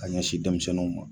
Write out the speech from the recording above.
Ka ɲɛ si denmisɛnnuw ma